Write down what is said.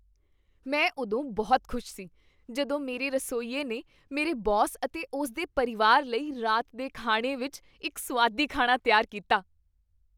ਮੈਂ ਉਦੋਂ ਬਹੁਤ ਖੁਸ਼ ਸੀ ਜਦੋਂ ਮੇਰੇ ਰਸੋਈਏ ਨੇ ਮੇਰੇ ਬੌਸ ਅਤੇ ਉਸ ਦੇ ਪਰਿਵਾਰ ਲਈ ਰਾਤ ਦੇ ਖਾਣੇ ਵਿਚ ਇੱਕ ਸੁਆਦੀ ਖਾਣਾ ਤਿਆਰ ਕੀਤਾ।